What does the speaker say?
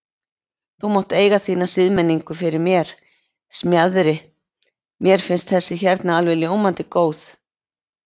Þú mátt eiga þína siðmenningu fyrir mér, Smjaðri, mér finnst þessi hérna alveg ljómandi góð.